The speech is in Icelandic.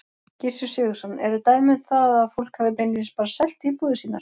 Gissur Sigurðsson: Eru dæmi um það að fólk hafi beinlínis bara selt íbúðir sínar?